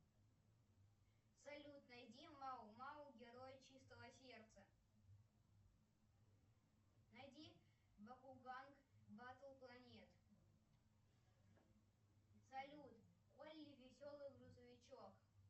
салют найди мао мао герой чистого сердца найди бакуган батл планет салют олли веселый грузовичок